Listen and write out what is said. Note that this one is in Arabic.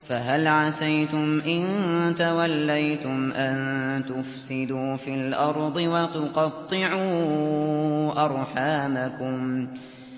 فَهَلْ عَسَيْتُمْ إِن تَوَلَّيْتُمْ أَن تُفْسِدُوا فِي الْأَرْضِ وَتُقَطِّعُوا أَرْحَامَكُمْ